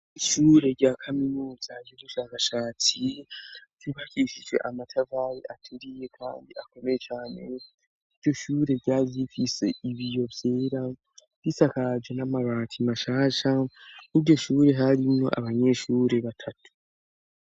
ishure rya kaminuza y'ubushakashatsi ryubakishije amatafari ateriye kandi akomeye cane iryoshure ryarifise ibiyo vyera bisakaje n'amarati mashasha n'iryo shure harimwo abanyeshure batatu